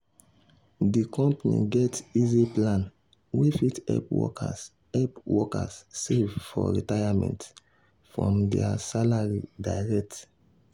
di company get easy plan wey fit help workers help workers save for retirement from their salary direct.